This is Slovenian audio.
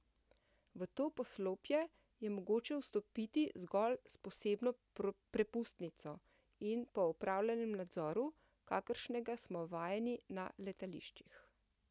V to poslopje je mogoče vstopiti zgolj s posebno prepustnico in po opravljenem nadzoru, kakršnega smo vajeni na letališčih.